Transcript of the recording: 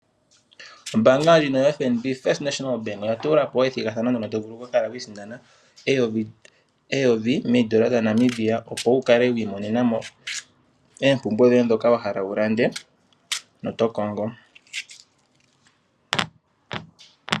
Ombaanga ndjino yoFNB First National Bank oya tula po ethigathano mono to vulu okwiisindanena eyovi meendola dhaNamibia opo wu kale wi imonena mo eempumbwe dhoye dhoka wa hala wu lande naadh9ka wo tokongo.